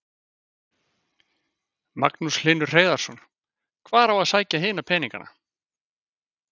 Magnús Hlynur Hreiðarsson: Hvar á að sækja hina peningana?